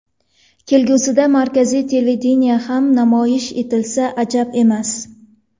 Kelgusida markaziy televideniyeda ham namoyish etilsa ajab emas.